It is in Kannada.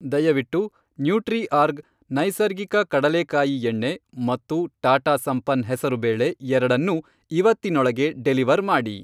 ದಯವಿಟ್ಟು ನ್ಯೂಟ್ರಿಆರ್ಗ್ ನೈಸರ್ಗಿಕ ಕಡಲೇಕಾಯಿ ಎಣ್ಣೆ ಮತ್ತು ಟಾಟಾ ಸಂಪನ್ನ್ ಹೆಸರುಬೇಳೆ ಎರಡನ್ನೂ ಇವತ್ತಿನೊಳಗೆ ಡೆಲಿವರ್ ಮಾಡಿ.